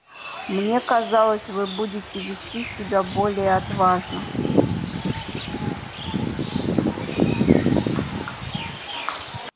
мне казалось вы будете вести себя более отважно